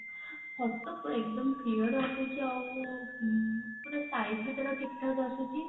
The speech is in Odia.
photo ଏକ ଦମ୍ clear ଆସୁଛି ଆଉ ଗୋଟେ size ବି ତାର ଠିକ୍ ଠାକ୍ ଆସୁଛି